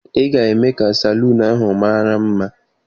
Ị ga-eme ka salon ahụ mara mma!